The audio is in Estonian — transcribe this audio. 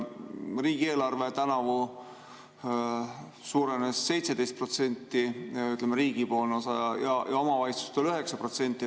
Riigieelarve tänavu suurenes 17%, ütleme, selle riigipoolne osa, ja omavalitsustel suurenes 9%.